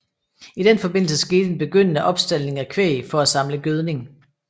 I den forbindelse skete en begyndende opstaldning af kvæg for at samle gødning